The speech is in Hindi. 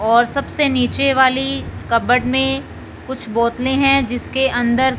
और सबसे नीचे वाली कबर्ड मे कुछ बोतले है जिसके अंदर--